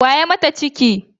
Wa ya mata ciki?